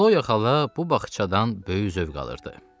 Xloya xala bu bağçadan böyük zövq alırdı.